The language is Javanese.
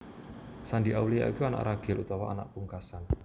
Shandy Aulia iku anak ragil utawa anak pungkasan